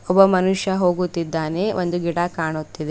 ಒಬ್ಬ ಮನುಷ್ಯ ಹೋಗುತ್ತಿದ್ದಾನೆ ಒಂದು ಗಿಡ ಕಾಣುತ್ತಿದೆ.